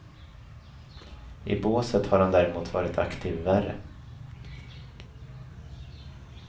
I båset har han däremot varit aktiv värre.